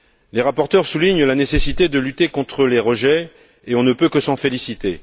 Les rapporteurs soulignent la nécessité de lutter contre les rejets et on en peut que s'en féliciter.